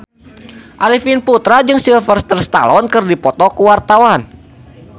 Arifin Putra jeung Sylvester Stallone keur dipoto ku wartawan